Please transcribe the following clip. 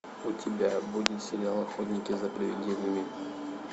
у тебя будет сериал охотники за привидениями